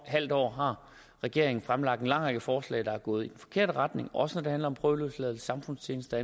halv år har regeringen fremlagt en lang række forslag der er gået i den forkerte retning også når det handler om prøveløsladelse samfundstjeneste